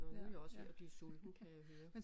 Nåh nu er jeg også ved at blive sulten kan jeg høre